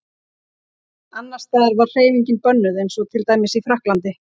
Annars staðar var hreyfingin bönnuð eins og til dæmis í Frakklandi.